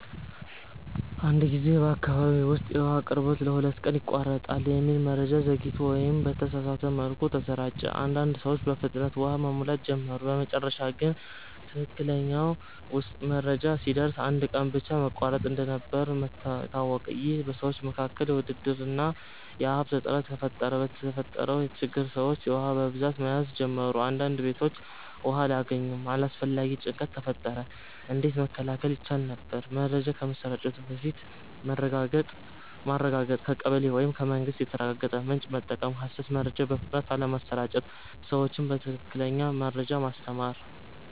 አንድ ጊዜ በአካባቢ ውስጥ “የውሃ አቅርቦት ለሁለት ቀን ይቋረጣል” የሚል መረጃ ዘግይቶ ወይም በተሳሳተ መልኩ ተሰራጨ። አንዳንድ ሰዎች በፍጥነት ውሃ መሙላት ጀመሩ በመጨረሻ ግን ትክክለኛው መረጃ ሲደርስ አንድ ቀን ብቻ መቋረጥ እንደነበር ታወቀ ይህ በሰዎች መካከል ውድድር እና የሀብት እጥረት ፈጠረ የተፈጠረው ችግር ሰዎች ውሃ በብዛት መያዝ ጀመሩ አንዳንድ ቤቶች ውሃ አላገኙም አላስፈላጊ ጭንቀት ተፈጠረ እንዴት መከላከል ይቻል ነበር? መረጃ ከመሰራጨቱ በፊት ማረጋገጥ ከቀበሌ ወይም ከመንግስት የተረጋገጠ ምንጭ መጠቀም ሐሰት መረጃ በፍጥነት አለመስራጨት ሰዎችን በትክክለኛ መረጃ ማስተማር